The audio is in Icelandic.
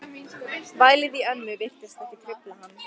Vælið í ömmu virtist ekki trufla hann.